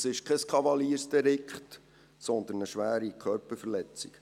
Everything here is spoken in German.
Das ist kein Kavaliersdelikt, sondern eine schwere Körperverletzung.